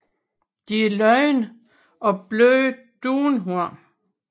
De er lodne af bløde dunhår